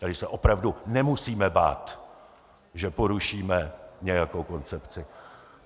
Tady se opravdu nemusíme bát, že porušíme nějakou koncepci.